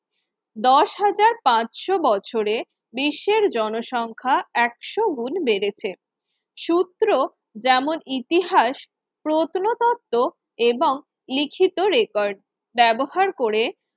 দশ হাজার পাঁচশো বছরের বিশ্বের জনসংখ্যা একশো গুণ বেড়েছে সূত্র যেমন ইতিহাস প্রত্নতত্ত্ব এবং লিখিত রেকর্ড ব্যবহার করে